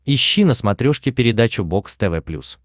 ищи на смотрешке передачу бокс тв плюс